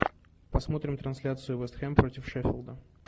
посмотрим трансляцию вест хэм против шеффилда